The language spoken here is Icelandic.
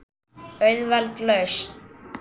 Auðveld lausn.